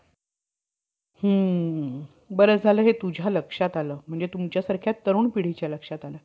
पुढे वामनाचे वामनाचे मागून आर्य लोकांच्या ब्रम्हा या नावाचा मखय अधिकार झाला. त्यांचा स्वभाव फार हट्टी होता.